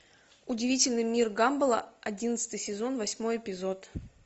удивительный мир гамбола одиннадцатый сезон восьмой эпизод